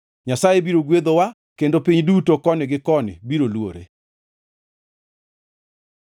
Nyasaye biro gwedhowa, kendo piny duto koni gi koni biro luore.